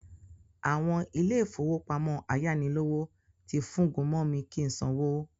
Àwọn ilé-ìfowópamọ́ ayánilówó ti fúngun mọ mi kí sanwó